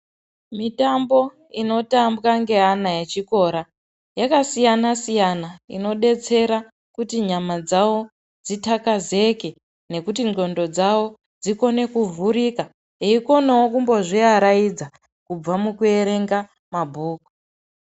Mitambo inotambwa ngeana echikora yakasiyana siyana inodetsera kuti nyama dzawo dzitakazeke kuti nclondo dzawo dzikone kuvhurika eikonawo kuzviaraidza kubva mukuerenga mabhuku